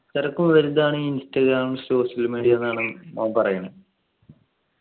ഇത്രക്കും വലുതാണെങ്കിൽ Instagram social media ന്നാണ് മോൻ പറയുന്നത്